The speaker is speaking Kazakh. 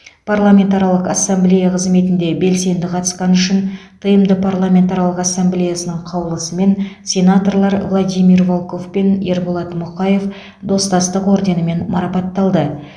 парламентаралық ассамблея қызметіне белсенді қатысқаны үшін тмд парламентаралық ассамблеясының қаулысымен сенаторлар владимир волков пен ерболат мұқаев достастық орденімен марапатталды